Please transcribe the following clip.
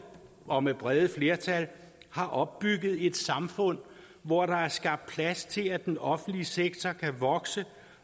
og med brede flertal har opbygget et samfund hvor der er skabt plads til at den offentlige sektor kan vokse